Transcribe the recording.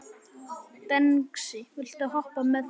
Dengsi, viltu hoppa með mér?